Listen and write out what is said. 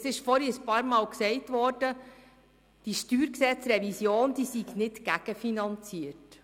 vorhin ist wiederholt gesagt worden, die StGRevision sei nicht gegenfinanziert.